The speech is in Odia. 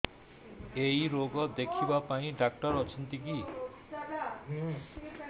ଏଇ ରୋଗ ଦେଖିବା ପାଇଁ ଡ଼ାକ୍ତର ଅଛନ୍ତି କି